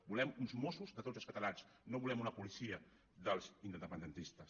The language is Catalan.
volem uns mossos de tots els catalans no volem una policia dels independentistes